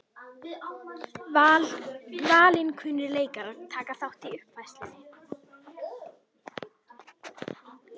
Valinkunnir leikarar taka þátt í uppfærslunni